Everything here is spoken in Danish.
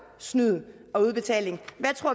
snyd og udbetaling